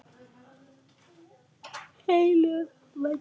Heilög venja.